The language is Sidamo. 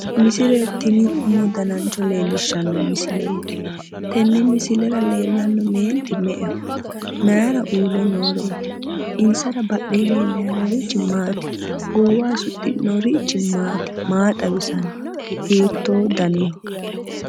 Misile tini omo danancho leellishshanno misileeti. Tenne misilera leellanno meenti me"eho? Mayira uurre nooreeti? Insara badhee leellayi noorichi maati? Goowaho suxxinorichi maati? Maa xawisanno? Hiittoo daniho?